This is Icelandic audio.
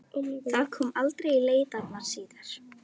Það kom aldrei í leitirnar síðar.